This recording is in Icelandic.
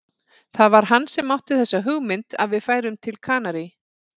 Það var hann sem átti þessa hugmynd að við færum til Kanarí.